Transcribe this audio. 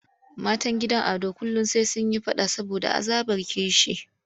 Matan gidan Ado kullum sai sun yi faɗa saboda azabar kishi.